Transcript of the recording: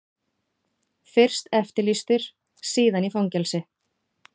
Fyrst eftirlýstur, síðan í fangelsi.